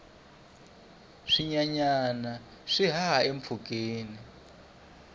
swinyenyana swi haha empfhukeni